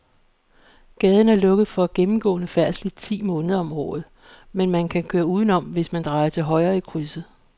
Gaden er lukket for gennemgående færdsel ti måneder om året, men man kan køre udenom, hvis man drejer til højre i krydset.